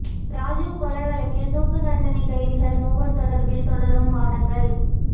ராஜீவ் கொலை வழக்கில் தூக்குத்தண்டனை கைதிகள் மூவர் தொடர்பில் தொடரும் வாதங்கள்